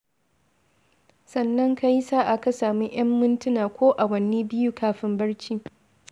Sannan ka yi sa'a ka samu 'yan mintuna ko awanni biyu kafin barci.